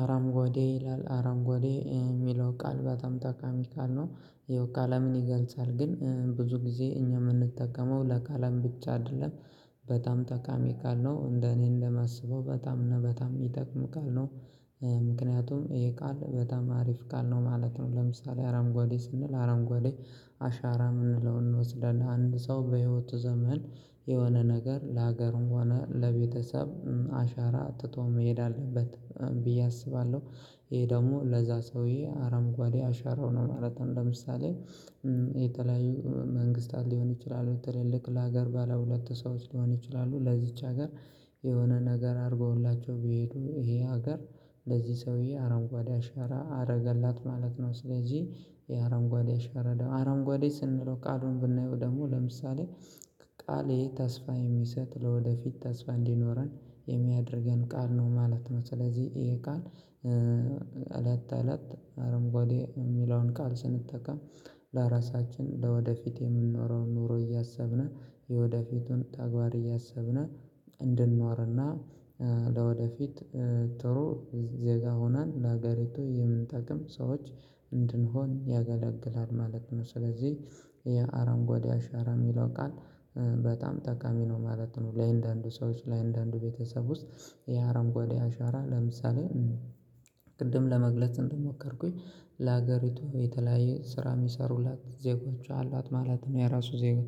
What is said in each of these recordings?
አርንጓዴ ይላል አርንጓዴ የሚለው ቃል በጣም ጠቃሚ ቃል ነው ያው ቀለምን ይገልጻል ግን ብዙ ጊዜ እኛ የምንጠቀመው ለቀለም ብቻ አይደለም። በጣም ጠቃሚ ቃል ነው እንደ እኔ እንደማስበው በጣም ነው በጣም የሚጠቅም ቃል ነው። ምክንያቱም ይሄ ቃል በጣም አሪፍ ቃል ነው ማለት ነው። ለምሳሌ አርንጓዴ ስንል አርንጓዴ አሻራ የምንለው እንወስደናለን አንድ ሰው በህይወቱ ዘመን የሆነ ነገር ለሀገሩም ሆነ ለቤተሰብ አሻራ ትቶ መሄድ አለበት ብዬ አስባለሁ። ይሄ ደግሞ ለዛ ሰውዬ አርንጓዴ አሻራው ነው ማለት ነው። ለምሳሌ የተለያዩ መንግስታት ሊሆን ይችላሉ ትልልቅ ለሀገር ባለ ሉለት ሰዎች ሊሆን ይችላሉ ለዚች ሀገር የሆነ ነገር አድርገውላቸው ብሄዱ ይሄ ሀገር ለዚህ ሰውዬ አረንጓዴ አሻራ አደረገላት ማለት ነው። ስለዚህ የአረንጓዴ አሻራ አረንጓዴ ስንለው ቃሉን ብናየው ደግሞ ለምሳሌ ቃሌ ተስፋ የሚሰጥ ለወደፊት ተስፋ እንዲኖረን የሚያደርገን ቃል ነው ማለት ነው። ስለዚህ ይሄ ቃል እለት እለት አረንጓዴ የሚለውን ቃል ስንጠቀም ለራሳችን ለወደፊት የምንወራውን ኑሮ እያሰብን የወደፊቱን ተግባር እያሰብን እንድንኖርና ለወደፊት ጥሩ ዜጋ ሆነን ለሀገርቱ የምንጠቅም ሰዎች እንድንሆን ያገለግላል ማለት ነው። ስለዚህ የአረንጓዴ አሻራ የሚለው ቃል በጣም ጠቃሚ ነው ማለት ነው። ለአንዳንዱ ሰዎች ለአንዳንዱ ቤተሰብ ውስጥ የአረንጓዴ አሻራ ለምሳሌ ቅድም ለመግለጽ እንደሞከርኩኝ ለሀገሪቱ የተለያየ ስራ የሚሰሩላት ዜጎቹ አሏት ማለት ነው። የራሱ ዜጋ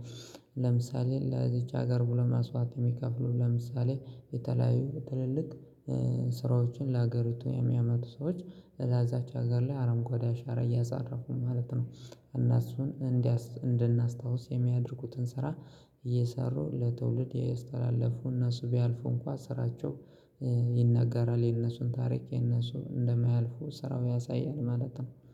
ለምሳሌ ለዚች ሀገር ብሎ መስዋት የሚከፍሉ ለምሳሌ የተለያዩ ትልልቅ ስራዎችን ለሀገሪቱ የሚያመጡ ሰዎች ለዛች ሀገር ላይ አረንጓዴ አሻረ እያሳረፉ ማለት ነው። እና እሱን እንድናስታውስ የሚያደርጉትን ስራ እየሰሩ ለትውልድ እያስተላለፉ እና እነሱ ቢያልፉ እንኳን ስራቸው ይነገራል የነሱን ታሪክ የነሱ እንደማያልፉ ስራው ያሳያል ማለት ነው